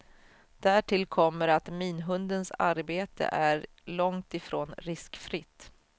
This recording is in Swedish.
Därtill kommer att minhundens arbete är långt ifrån riskfritt.